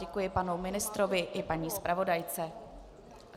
Děkuji panu ministrovi i paní zpravodajce.